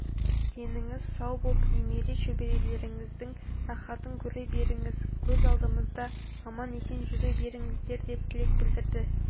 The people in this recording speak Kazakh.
деніңіз сау боп немере-шөберелеріңіздің рахатын көре беріңіз көз алдымызда аман-есен жүре беріңіздер деп тілек білдірді